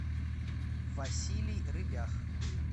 василий рыбях